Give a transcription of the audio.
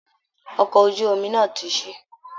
Ọkọ̀ ojú omi náà ti ṣí